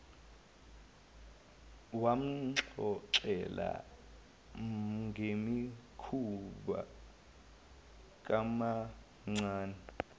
wamxoxela ngemikhuba kamamncane